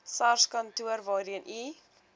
sarskantoor waarheen u